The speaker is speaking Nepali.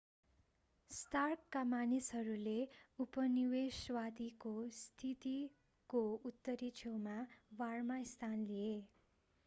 स्टार्कका मानिसहरूले उपनिवेशवादीको स्थितिको उत्तरी छेउमा बारमा स्थान लिए